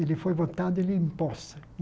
Ele foi votado ele empossa